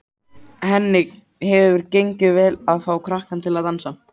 Henni hefur gengið vel að fá krakkana til að dansa.